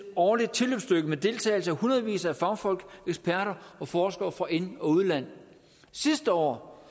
årligt tilløbsstykke med deltagelse af hundredvis af fagfolk eksperter og forskere fra ind og udland sidste år